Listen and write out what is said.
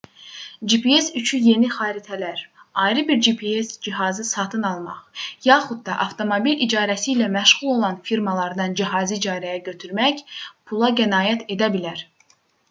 gps üçü yeni xəritələr ayrı bir gps cihazı satın almaq yaxud da avtomobil icarəsi ilə məşğul olan firmalardan cihazı icarəyə götürmək pula qənaət edə bilər